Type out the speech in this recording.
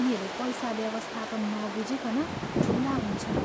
उनीहरू पैसा व्यवस्थापन नबुझिकन ठुला हुन्छन्।